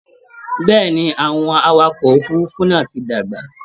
Bẹ́ẹ̀̀ ni, àwọn awakọ òfurufú náà ti dàgbà